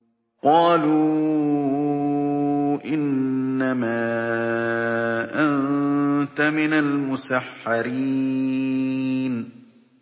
قَالُوا إِنَّمَا أَنتَ مِنَ الْمُسَحَّرِينَ